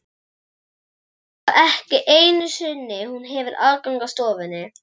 Svo að ekki einu sinni hún hefur aðgang að stofunni?